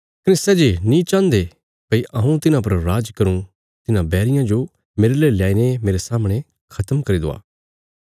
कने सै जे नीं चाहन्दे भई हऊँ तिन्हां पर राज करूँ तिन्हां बैरियां जो मेरले ल्याईने मेरे सामणे खत्म करी दवा